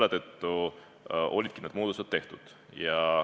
Seetõttu ongi need muudatused tehtud.